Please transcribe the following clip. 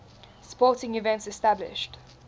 sporting events established